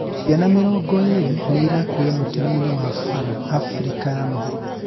ciana mĩrongo ĩrĩ nĩirakuire mũtino-inĩ wa bara Afrika ya mũhuro